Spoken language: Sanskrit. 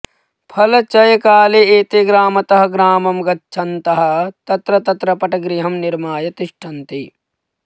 फलचयकाले एते ग्रामतः ग्रामं गच्छन्तः तत्र तत्र पटगृहं निर्माय तिष्ठन्ति